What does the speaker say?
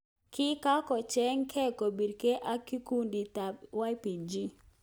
Kikakochergei kopirgei ak Kikundit ap YPG.